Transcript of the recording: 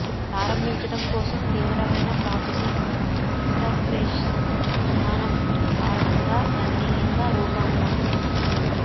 ప్రారంభించడం కోసం తీవ్రమైన ప్రాసెసింగ్ ఇంటర్ఫేస్ విధానం కారణంగా గణనీయంగా రూపాంతరం